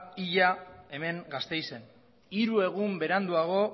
hila hemen gasteizen hiru egun beranduago